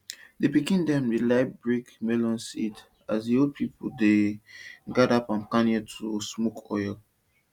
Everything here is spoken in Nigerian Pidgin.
di pikin dem dey like break melon seed as di old pipo dey gather palm kernel to smoke oil